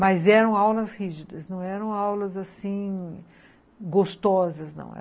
Mas eram aulas rígidas, não eram aulas assim... gostosas, não.